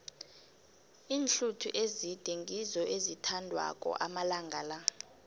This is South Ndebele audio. iinhluthu ezide ngizo ezithandwako amalanga la